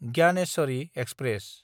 Gyaneshwari express